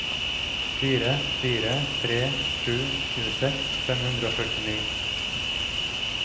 fire fire tre sju tjueseks fem hundre og førtini